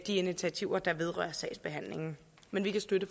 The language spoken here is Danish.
initiativer der vedrører sagsbehandlingen men vi kan støtte